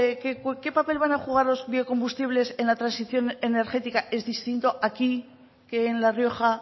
qué papel van a jugar los biocombustibles en la transición energética es distinto aquí que en la rioja